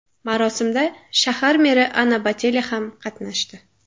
Marosimda shahar meri Ana Botelya ham qatnashdi.